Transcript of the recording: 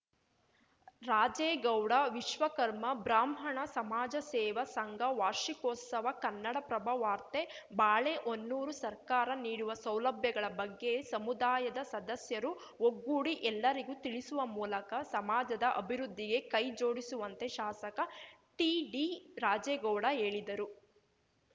ರಾಜೇಗೌಡ ವಿಶ್ವಕರ್ಮ ಬ್ರಾಹ್ಮಣ ಸಮಾಜ ಸೇವಾ ಸಂಘ ವಾರ್ಷಿಕೋತ್ಸವ ಕನ್ನಡಪ್ರಭ ವಾರ್ತೆ ಬಾಳೆಹೊನ್ನೂರು ಸರ್ಕಾರ ನೀಡುವ ಸೌಲಭ್ಯಗಳ ಬಗ್ಗೆ ಸಮುದಾಯದ ಸದಸ್ಯರು ಒಗ್ಗೂಡಿ ಎಲ್ಲರಿಗೂ ತಿಳಿಸುವ ಮೂಲಕ ಸಮಾಜದ ಅಭಿವೃದ್ಧಿಗೆ ಕೈ ಜೋಡಿಸುವಂತೆ ಶಾಸಕ ಟಿಡಿ ರಾಜೇಗೌಡ ಹೇಳಿದರು